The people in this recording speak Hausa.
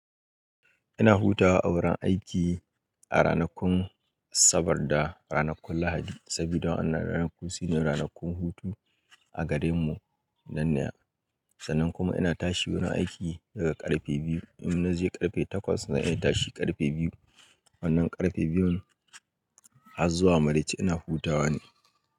Ina hutawa a wurin aiki a ranakun Asabar da ranakun Lahadi saboda wa an ranakun su ne ranakun hutu a gare mu. Nan nan sannan kuma ina tashi wurin aiki daga ƙarfe biyu. In na je ƙarfe takwas zan iya tashi ƙarfe biyu wannan ƙarfe biyun har zuwa maraici ina hutawa ne.